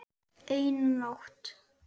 Eina nótt.